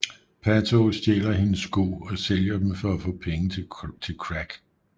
Pato stjæler hendes sko og sælger dem for at få penge til crack